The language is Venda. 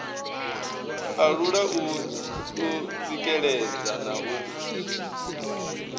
alula u tsikeledza na u